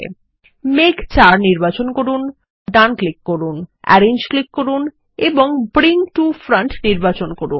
মেঘ ৪ নির্বাচন করুন কনটেক্সট মেনুর জন্য ডান ক্লিক করুন আরেঞ্জ ক্লিক করুন এবং ব্রিং টো ফ্রন্ট নির্বাচন করুন